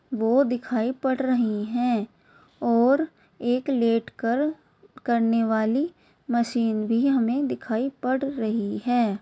वो दिखाई पड़ रही है और एक लेटकर करने वाली मशीन भी हमे दिखाई पड़ रही है ।